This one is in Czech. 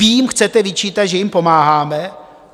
Vy jim chcete vyčítat, že jim pomáháme?